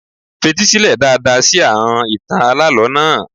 Fetí sílẹ̀ dáadáa sí àọn ìtàn alálọ̀ọ́ náà.